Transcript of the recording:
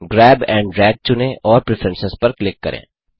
grab and drag चुनें और preference पर क्लिक करें